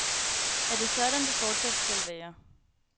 Er det sådan, det fortsat skal være?